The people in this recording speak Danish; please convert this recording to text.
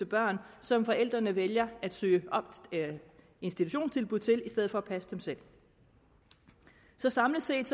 børn som forældrene vælger at søge institutionstilbud til i stedet for selv at passe dem så så samlet set